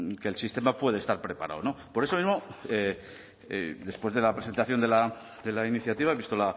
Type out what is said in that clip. que el sistema puede estar preparado no por eso mismo y después de la presentación de la iniciativa visto